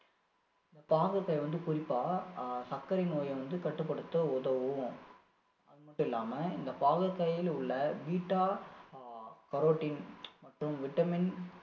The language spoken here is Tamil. இந்த பாகற்காய் வந்து குறிப்பா ஆஹ் சர்க்கரை நோயை வந்து கட்டுப்படுத்த உதவும் அது மட்டும் இல்லாம இந்த பாகற்காயில உள்ள beta-carotene மற்றும் vitamin